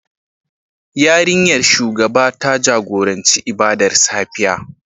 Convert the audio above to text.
Yarinyar shugaba ta jagoranci ibadar safiya